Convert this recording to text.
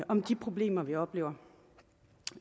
om de problemer vi oplever